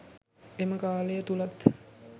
එම කාලය තුළත්